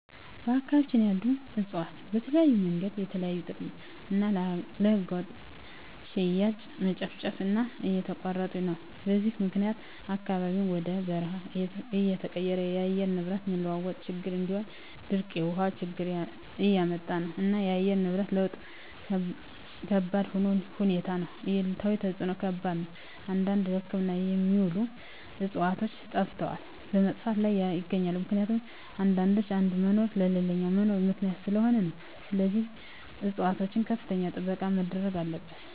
በአካባቢያቸን ያሉ እፅዋትን በተለያዮ መንገድ ለተለያዩ ጥቅም እና ለህገወጥ ሽያጭ መጨፍጨፉ እና እየተቆረጡ ነው በዚህም ምክኒያት አካባቢው ወደ በርሃ እየተቀየረ የአየር ንብረት መለዋወጥ ችግር እንዲሁም ድርቅ የውሀ ችግር እያመጣ ነው እና የአየር ንብረት ለውጥ ከባድሁኔታ ነው አሉታዊ ተፅዕኖው ከባድ ነው አንዳንድ ለህክምና የሚውሉ ዕፅዋቶች ጠፈተዋል በመጥፋት ላይም ይገኛሉ ምክኒቱም አንዳንዶች የአንዱ መኖር ለሌላኛው መኖር ምክኒያት ሰለሆኑ ነው ስለዚህም ፅፅዋቶች ከፍተኛ ጥበቃ መደረግ አለበት።